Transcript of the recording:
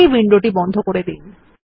এই উইন্ডোটি বন্ধ করে দিন